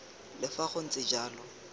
le fa go ntse jalo